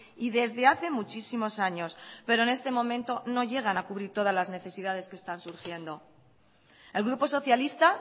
y desdehace muchísimos años pero en este momento no llegan a cubrir todas las necesidades que están surgiendo el grupo socialista